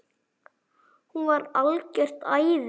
hún var algjört æði.